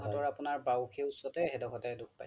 শো হাতৰ আপোনাৰ বাওখি উচ্চতে সেই দুখৰতে দোষ পাইছে